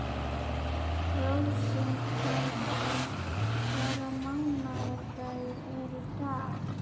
Rósinkransa, hvaða mánaðardagur er í dag?